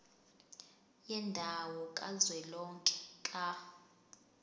yendawo kazwelonke ka